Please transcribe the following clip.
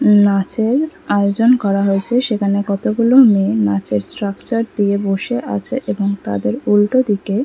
উম নাচের আয়োজন করা হয়েছে সেখানে কতগুলো মেয়ে নাচের স্ট্রাকচার দিয়ে বসে আছে এবং তাদের উল্টো দিকে--